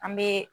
An bɛ